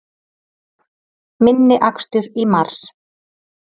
Minni akstur í mars